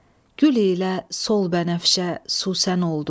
Gül ilə sol bənəfşə, susən oldu.